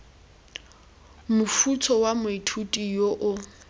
mofuta wa moithuti yo o